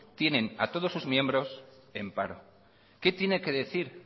tienen a todos sus miembros en paro qué tiene que decir